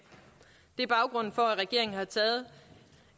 det er baggrunden for at regeringen har taget